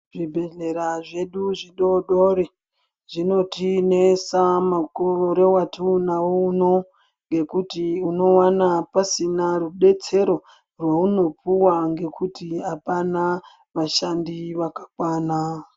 Zvibhehlera zvedu zvidodori zvinotinesa mukore watinawo uno ngekuti unowana pasina rudetsero rweunopuwa ngekuti apana vashandi vakakwana.